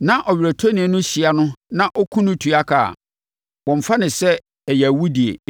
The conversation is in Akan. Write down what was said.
na ɔweretɔni no hyia no na ɔkum no tua ka a, wɔmmfa no sɛ ɛyɛ awudie,